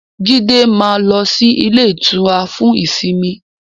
Jídé máa ń lọ sí ilé-ìtura fún ìsimi.